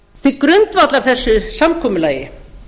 því til grundvallar þessu samkomulagi